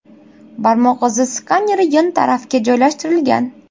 Barmoq izi skaneri yon tarafga joylashtirilgan.